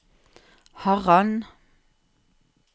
Harran